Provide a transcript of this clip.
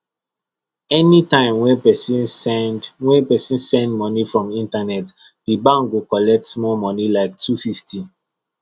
anytime wey person send wey person send money from internetdi bank go collect small money like two fifty